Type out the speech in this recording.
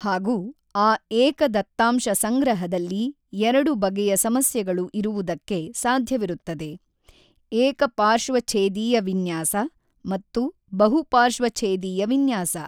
ಹಾಗೂ ಆ ಏಕ ದತ್ತಾಂಶ ಸಂಗ್ರಹದಲ್ಲಿ ಎರಡು ಬಗೆಯ ಸಮಸ್ಯೆಗಳು ಇರುವುದಕ್ಕೆ ಸಾಧ್ಯವಿರುತ್ತದೆ ಏಕ ಪಾರ್ಶ್ವಛೇದೀಯ ವಿನ್ಯಾಸ ಮತ್ತು ಬಹು ಪಾರ್ಶ್ವಛೇದೀಯ ವಿನ್ಯಾಸ.